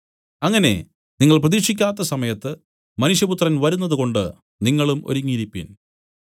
അങ്ങനെ നിങ്ങൾ പ്രതീക്ഷിക്കാത്ത സമയത്ത് മനുഷ്യപുത്രൻ വരുന്നതുകൊണ്ടു നിങ്ങളും ഒരുങ്ങിയിരിപ്പിൻ